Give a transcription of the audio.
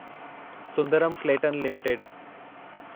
Sundaram Clayton limited